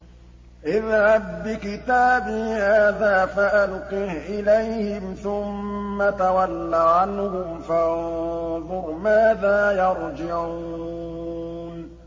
اذْهَب بِّكِتَابِي هَٰذَا فَأَلْقِهْ إِلَيْهِمْ ثُمَّ تَوَلَّ عَنْهُمْ فَانظُرْ مَاذَا يَرْجِعُونَ